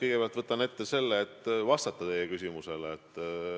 Kõigepealt ma võtan ette selle, et vastan teie küsimusele.